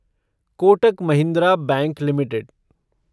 Kotak Mahindra bank limited